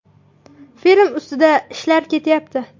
Film ustida ishlar ketyapti.